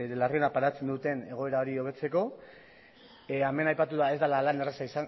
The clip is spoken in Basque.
larriena pairatzen duten egoera hori hobetzeko hemen aipatu da ez dela lan erraza